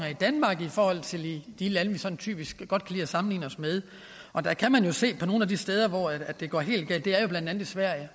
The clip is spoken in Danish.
i danmark i forhold til i de lande vi sådan typisk godt kan sammenligne os med man kan se på nogle af de steder hvor det går helt galt og det er jo blandt andet i sverige